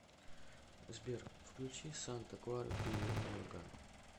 сбер включи санта клара билли миллиган